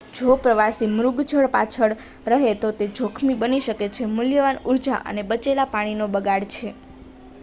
જો પ્રવાસી મૃગજળ પાછળ રહે તો તે જોખમી બની શકે મૂલ્યવાન ઉર્જા અને બચેલા પાણી નો બગાડ છે